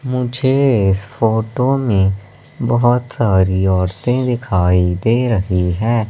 मुझे इस फोटो में बहोत सारी औरते दिखाई दे रही है।